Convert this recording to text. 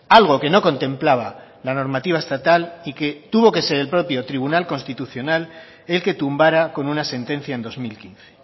algo que no contemplaba la normativa estatal y que tuvo que ser el propio tribunal constitucional el que tumbara con una sentencia en dos mil quince